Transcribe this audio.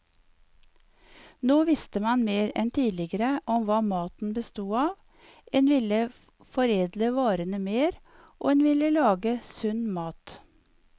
Nå visste man mer enn tidligere om hva maten bestod av, en ville foredle varene mer, og en ville lage sunn mat.